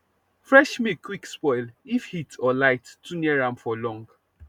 fresh milk quick spoil if heat or light too near am for long